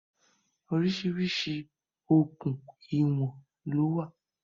Orísìírìsí okùn ìwọ̀n lówọ̀